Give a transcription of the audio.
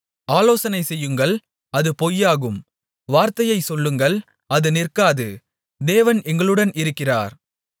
ஆலோசனை செய்யுங்கள் அது பொய்யாகும் வார்த்தையை சொல்லுங்கள் அது நிற்காது தேவன் எங்களுடன் இருக்கிறார்